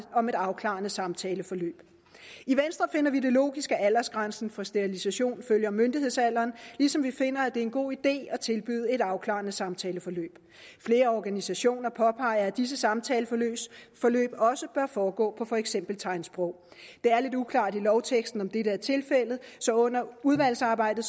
om et afklarende samtaleforløb i venstre finder vi det logisk at aldersgrænsen for sterilisation følger myndighedsalderen ligesom vi finder er en god idé at tilbyde et afklarende samtaleforløb flere organisationer påpeger at disse samtaleforløb også bør foregå på for eksempel tegnsprog det er lidt uklart i lovteksten om dette er tilfældet så under udvalgsarbejdet